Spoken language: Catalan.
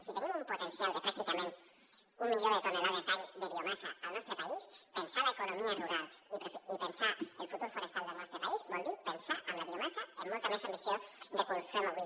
si tenim un potencial de pràcticament un milió de tones l’any de biomassa al nostre país pensar l’economia rural i pensar el futur forestal del nostre país vol dir pensar en la biomassa amb molta més ambició de com ho fem avui